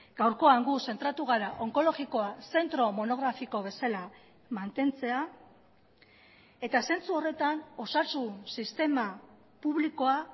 gaurkoan guk zentratu gara onkologikoa zentro monografiko bezala mantentzea eta zentsu horretan osasun sistema publikoa